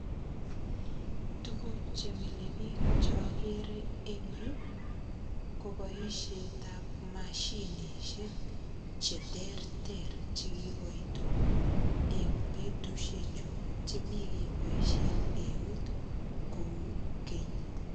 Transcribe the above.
Tuguk che milebich chogere eng yu koboisiet ab mashinisiek cheterter che kiboitu eng betusiechu chemekeboisie eut kou keny.